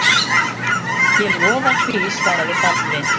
Ég lofa því, svaraði Baldvin.